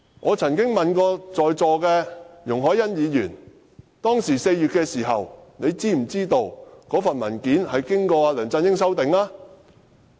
我曾經問過在座的容海恩議員 ，4 月時她是否知悉該份文件經梁振英修改過。